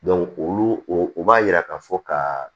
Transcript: olu o b'a yira ka fɔ ka